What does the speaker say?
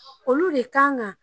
Olu de kan kan